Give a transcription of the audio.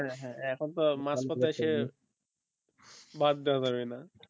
হ্যাঁ হ্যাঁ এখন তো আর মাঝ পথে এসে বাদ দেওয়া যাবে না